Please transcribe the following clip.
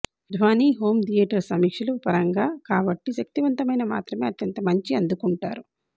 ధ్వని home theatre సమీక్షలు పరంగా కాబట్టి శక్తివంతమైన మాత్రమే అత్యంత మంచి అందుకుంటారు